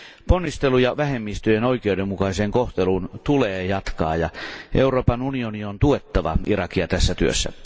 Ponnisteluja vähemmistöjen oikeudenmukaiseen kohteluun tulee jatkaa, ja Euroopan unionin on tuettava Irakia tässä työssä.